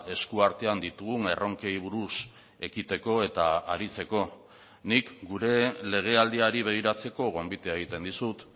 eskuartean ditugun erronkei buruz ekiteko eta aritzeko nik gure legealdiari begiratzeko gonbitea egiten dizut